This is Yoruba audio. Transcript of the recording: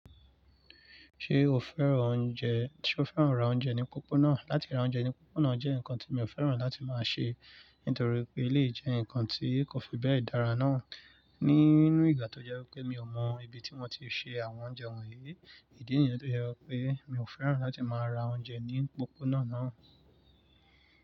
Ṣé o fẹ́ràn oúnjẹ, ṣe o fẹ́ràn ra oúnjẹ ní pópónà? Látí ra oúnjẹ ní pópónà jẹ́ nǹkan tí mi ò fẹ́ràn láti máa ṣe, nítorí pé eleyii jẹ́ ǹkan tí kò fi bẹ́ẹ̀ dára náà. Nínú ìgbà tó jẹ́ wípé mi ò mọ ibi tí wọ́n ti ń se àwọn oúnjẹ wọ̀nyí, ìdí nìyẹn tó jẹ́ wípé mi ò fẹ́ràn láti máa ra oúnjẹ ní pópónà náà.